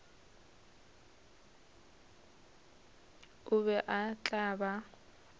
o be o tla ba